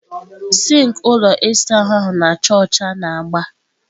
sink ụlọ ịsa ahụ na-acha ọcha na agba.